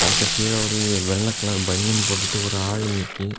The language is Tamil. அது கீழ ஒரு வெள்ள கலர் பனியன் போட்டுட்டு ஒரு ஆளு நீக்கி.